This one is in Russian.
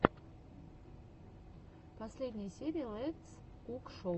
последняя серия летс кук шоу